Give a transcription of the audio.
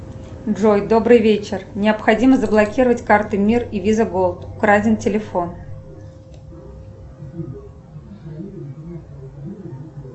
джой добрый вечер необходимо заблокировать карты мир и виза голд украден телефон